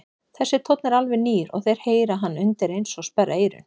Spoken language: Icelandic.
Þessi tónn er alveg nýr og þeir heyra hann undireins og sperra eyrun.